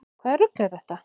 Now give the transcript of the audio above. Hvaða rugl er þetta?